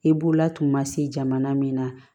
I b'u latunmasi jamana min na